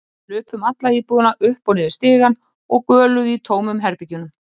Þau hlupu um alla íbúðina, upp og niður stigann og göluðu í tómum herbergjunum.